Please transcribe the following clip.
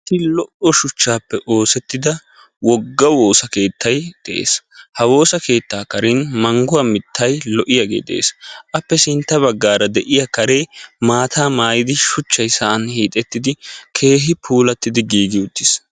Issi lo'o shuchchaappe oosettida wogga woosakeettay de'es. Ha woosa keettaa karen mangguwa mittay lo'iyaagee de'es. Appe sintta baggaara de'iya karee maataa mayidi shuchchay sa'an hiixettidi keehi puulatti giigi uttis.